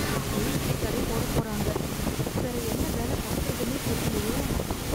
மீன் பிடி தடை போட போறாங்க, வேற என்ன வேல பாக்கிறதுனே தெர்லயே.